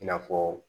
I n'a fɔ